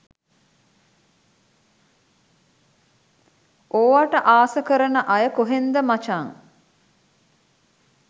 ඕවට ආස කරන අය කොහෙන්ද මචන්.